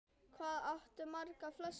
Hvað áttu margar flöskur núna?